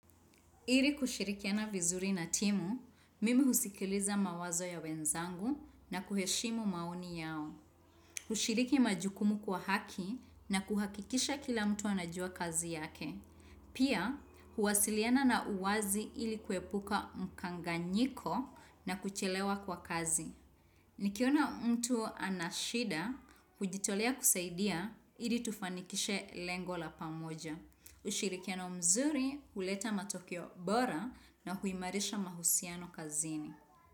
Ili kushirikiana vizuri na timu, mimi husikiliza mawazo ya wenzangu na kuheshimu maoni yao. Hushiriki majukumu kwa haki na kuhakikisha kila mtu anajua kazi yake. Pia, huwasiliana na uwazi ili kuepuka mkanganyiko na kuchelewa kwa kazi. Nikiona mtu ana shida, hujitolea kusaidia, ili tufanikishe lengo la pamoja. Ushirikiano mzuri huleta matokeo bora na huimarisha mahusiano kazini.